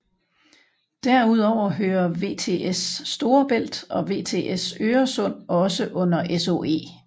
Derudover hører VTS Storebælt og VTS Øresund også under SOE